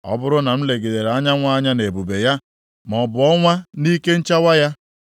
ọ bụrụ na m legidere anyanwụ anya nʼebube ya, maọbụ ọnwa nʼike nchawa ya,